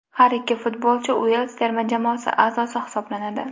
Har ikki futbolchi Uels terma jamoasi a’zosi hisoblanadi.